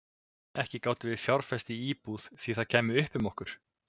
Ekki gátum við fjárfest í íbúð því það kæmi upp um okkur.